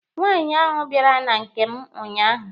Nwaanyị ahụ bịara na nke m unyaahụ.